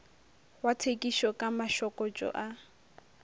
wa thekišo ka mašokotšo a